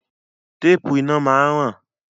Téèpù iná máa ń ràn.